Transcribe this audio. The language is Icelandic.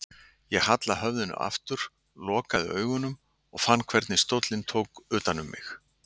Ég hallaði höfðinu aftur, lokaði augunum og fann hvernig stóllinn tók utan um mig.